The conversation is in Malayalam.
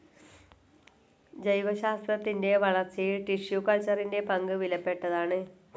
ജൈവശാസ്ത്രത്തിൻ്റെ വളർച്ചയിൽ ടിഷ്യൂ കൾച്ചറിൻ്റെപങ്ക് വിലപ്പെട്ടതാണ്.